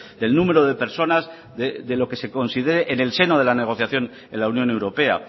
del número de personas de lo que se considere en el seno de la negociación en la unión europea